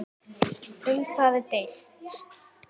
Um það er deilt.